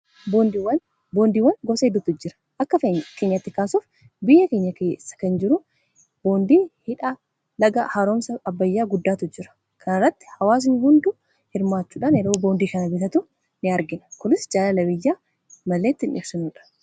boondiiwwan gosa hidutu jira akka keenyatti kaasuuf biyya kensa kan jiru boondii hidhaa laga haroomsa abbayyaa guddaatu jira kanairratti hawaasi hundu hirmaachuudhaan yeroo boondii kana bitatu in argina kulis jaala labiyya malleettiindhibsinuudha